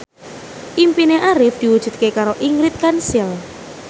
impine Arif diwujudke karo Ingrid Kansil